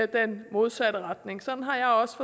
den modsatte retning sådan har jeg også